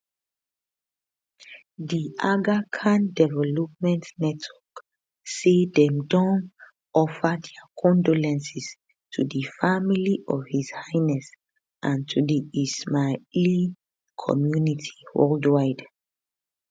the aga khan development network say dem offer dia condolences to di family of his highness and to di ismaili community worldwide